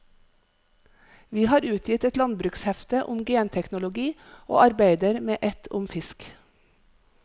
Vi har utgitt et landbrukshefte om genteknologi og arbeider med et om fisk.